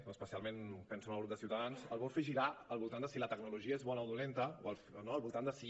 però especialment penso en el grup de ciutadans el vol fer girar algú al voltant de si la tecnologia és bona o dolenta no al voltant de si